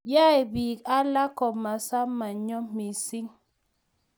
yae biik alak komasomanyo mising